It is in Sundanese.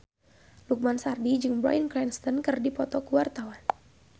Lukman Sardi jeung Bryan Cranston keur dipoto ku wartawan